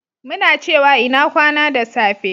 muna cewa "ina kwana" da safe